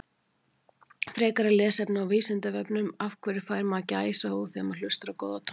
Frekara lesefni á Vísindavefnum Af hverju fær maður gæsahúð þegar maður hlustar á góða tónlist?